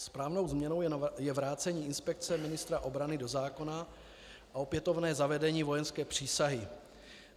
Správnou změnou je vrácení inspekce ministra obrany do zákona a opětovné zavedení vojenské přísahy.